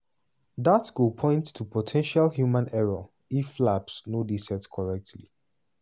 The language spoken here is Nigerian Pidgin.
"dat go point to po ten tial human error if flaps no dey set correctly."